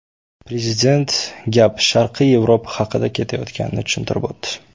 Prezident gap Sharqiy Yevropa haqida ketayotganini tushuntirib o‘tdi.